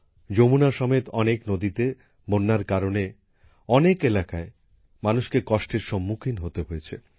যমুনা সমেত অনেক নদীতে বন্যার কারণে অনেক এলাকায় মানুষকে কষ্টের সম্মুখীন হতে হয়েছে